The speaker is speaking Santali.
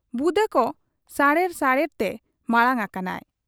ᱵᱩᱫᱟᱹᱠᱚ ᱥᱟᱦᱮᱲ ᱥᱟᱦᱮᱲ ᱛᱮ ᱢᱟᱬᱟᱝ ᱟᱠᱟᱱᱟᱭ ᱾